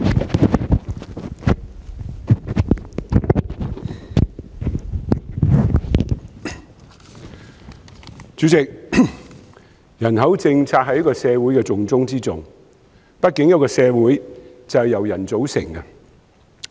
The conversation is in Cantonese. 代理主席，人口政策是社會的重中之重，畢竟一個社會就是由人組成的。